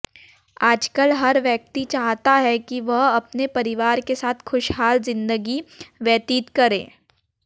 आजकल हर व्यक्ति चाहता है कि वह अपने परिवार के साथ खुशहाल जिंदगी व्यतीत करें